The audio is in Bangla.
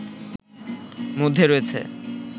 মধ্যে রয়েছে